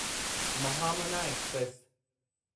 Mahamana express